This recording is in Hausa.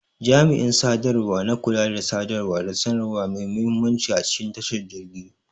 Jami'in sadarwa na kula da sadarwa da sanarwa mai muhimmanci a cikin tashar jirgi.